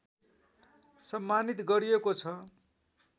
सम्मानित गरिएको छ